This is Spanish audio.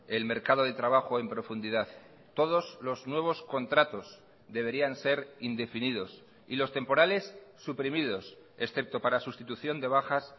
el mercado de trabajo en profundidad todos los nuevos contratos deberían ser indefinidos y los temporales suprimidos excepto para sustitución de bajas